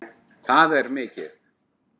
Það er mikið!